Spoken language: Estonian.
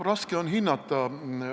Raske on hinnata.